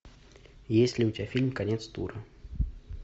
есть ли у тебя фильм конец тура